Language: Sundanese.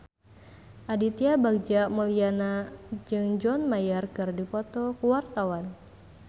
Aditya Bagja Mulyana jeung John Mayer keur dipoto ku wartawan